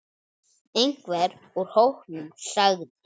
Einhver úr hópnum sagði